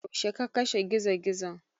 Yaushe ka kashe Gizo-gizon?